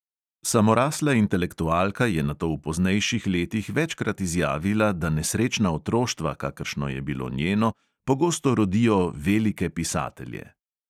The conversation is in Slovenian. Samorasla intelektualka je nato v poznejših letih večkrat izjavila, da nesrečna otroštva, kakršno je bilo njeno, pogosto rodijo velike pisatelje.